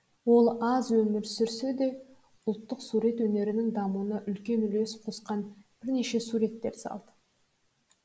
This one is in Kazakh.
ол аз өмір сүрсе де да ұлттық сурет өнерінің дамуына үлкен үлес қосқан бірнеше суреттер салды